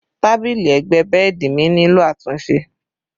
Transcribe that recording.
Tábìlì ẹgbẹ́ bẹ́ẹ̀dì mi nílò àtúnṣe